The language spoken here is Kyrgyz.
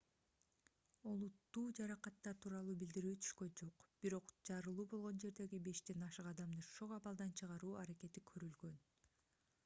олуттуу жаракаттар тууралуу билдирүү түшкөн жок бирок жарылуу болгон жердеги бештен ашык адамды шок абалдан чыгаруу аракети көрүлгөн